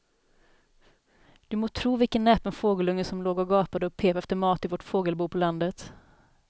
Du må tro vilken näpen fågelunge som låg och gapade och pep efter mat i vårt fågelbo på landet.